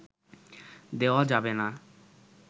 দেওয়া যাবে না